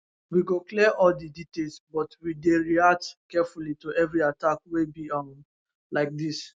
we go clear all di details but we dey react carefully to every attack wey be um like dis